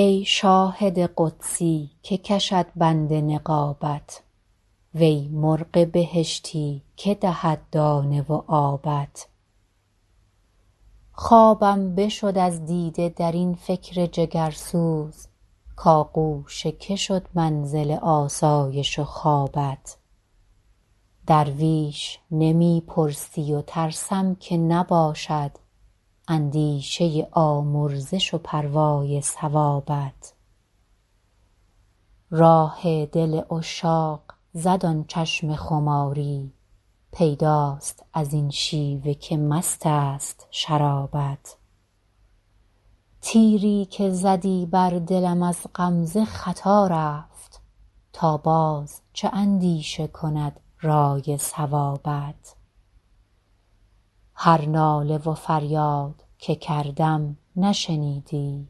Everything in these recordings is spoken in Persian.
ای شاهد قدسی که کشد بند نقابت وی مرغ بهشتی که دهد دانه و آبت خوابم بشد از دیده در این فکر جگرسوز کآغوش که شد منزل آسایش و خوابت درویش نمی پرسی و ترسم که نباشد اندیشه آمرزش و پروای ثوابت راه دل عشاق زد آن چشم خماری پیداست از این شیوه که مست است شرابت تیری که زدی بر دلم از غمزه خطا رفت تا باز چه اندیشه کند رأی صوابت هر ناله و فریاد که کردم نشنیدی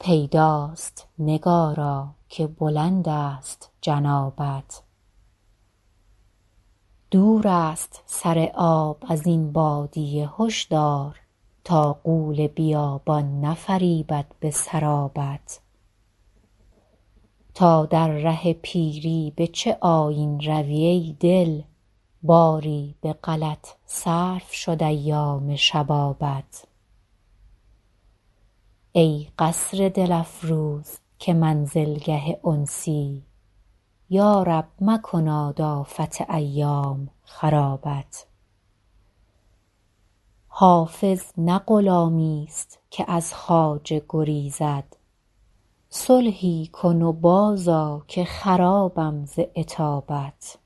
پیداست نگارا که بلند است جنابت دور است سر آب از این بادیه هشدار تا غول بیابان نفریبد به سرابت تا در ره پیری به چه آیین روی ای دل باری به غلط صرف شد ایام شبابت ای قصر دل افروز که منزلگه انسی یا رب مکناد آفت ایام خرابت حافظ نه غلامیست که از خواجه گریزد صلحی کن و بازآ که خرابم ز عتابت